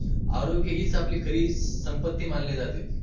आरोग्य हीच आपली खरी संपत्ती मानली जाते.